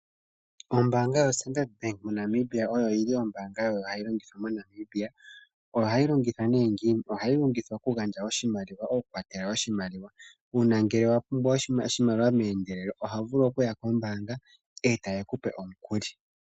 Ombaanga yo Standard Bank Namibia oyo yili ombaanga oyo hayi longithwa moNamibia. Ohayi longithwa nee ngini? Ohayi longithwa kugandja oshimaliwa. Okukwathela oshimaliwa uuna ngele wa pumbwa oshimaliwa meendelelo, oho vulu okuya kombaanga e taye ku pe omukuli.